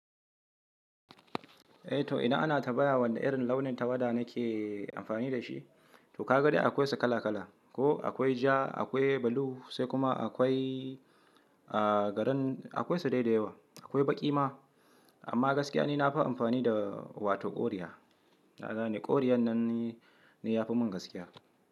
Eh to idan ana tambaya wane irin launin tawada nake amfani da shi. To ka ga dai akwai su kala kala. Ko akwai ja, akwai blue sai kuma akwai green akwai su dai da yawa. Akwai baƙi ma. Amma gaskiya ni na dan fi amfani da wato ƙoriya. Kagane ƙoriyan nan ni ya fi mun gaskiya.